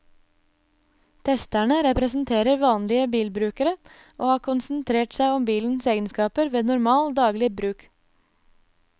Testerne representerer vanlige bilbrukere og har konsentrert seg om bilens egenskaper ved normal, daglig bruk.